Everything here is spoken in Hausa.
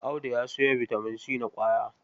Audu ya sayo bitamin c na ƙwaya.